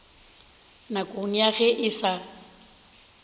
nakong ya ge e sa